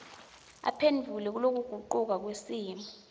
aphendvula kulokugucuka kwesimo